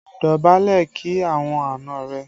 Dọ̀bálẹ̀ kí àwọn àna rẹ!